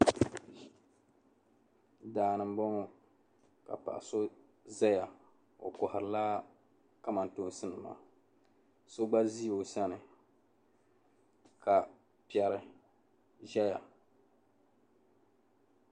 Daani n bɔŋɔ ka so ʒɛya ɔ kohiri la kamantoonsi so gba ʒi ɔsani, ka pɛri ʒaya.